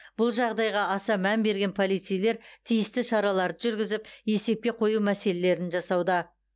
бұл жағдайға аса мән берген полицейлер тиісті шараларды жүргізіп есепке қою мәселелерін жасауда